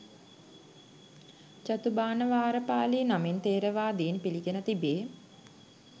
චතුභාණවාරපාළි නමින් ථෙරවාදීන් පිළිගෙන තිබේ.